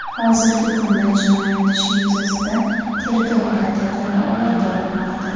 Hozirgi kunda jinoyat ishi yuzasidan tergov harakatlari olib borilmoqda.